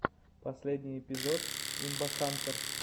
последний эпизод имбахантэр